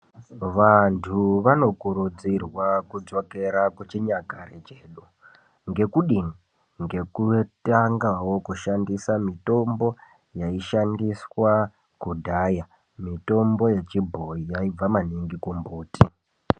Vantu vano kurudzirwa kudzokera kuchinyakare chedu, ngekudini ngekutangawo kushandisa mitombo yaishandiswa kudhaya, mitombo yechibhoyi yaibva maningi kumbuti.